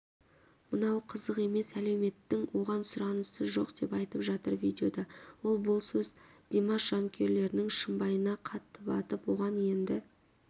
мынау қызық емес әлеуметтің оған сұранысы жоқ деп айтып жатыр видеода ол бұл сөз димаш жанкүйерлерінің шымбайына қатты батып оған енді